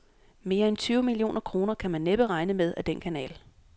Mere end tyve millioner kroner kan man næppe regne med ad den kanal.